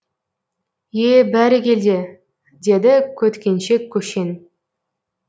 е бәрекелде деді көткеншек көшен